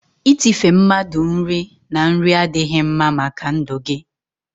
itife mmadụ nri na nri adịghị mma màkà ndụ gị.